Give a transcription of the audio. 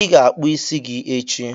ị ga-akpụ isi gị echi!